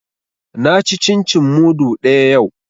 Na ci cin cin mudu ɗaya yau